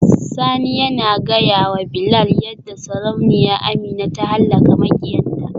Sani yana gaya wa Bilal yadda Sarauniya Amina ta halaka makiyanta.